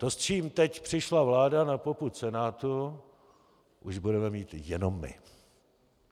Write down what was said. To, s čím teď přišla vláda na popud Senátu, už budeme mít jenom my.